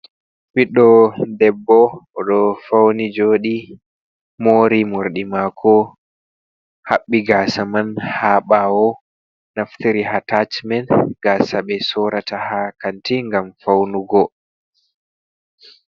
Ɓiddo debbo o ɗo fauni joɗi, mori morɗi mako haɓɓi gaasa man ha ɓawo, naftiri hatacimen gaasa ɓe sorata ha kanti gam faunugo.